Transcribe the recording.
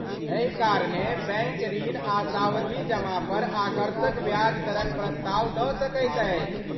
एहि कारणेँ बैंक ऋण आ सावधि जमा पर आकर्षक ब्याज दरक प्रस्ताव दऽ सकैत अछि।